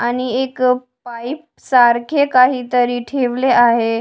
आणि एक पाईप सारखे काहीतरी ठेवले आहे.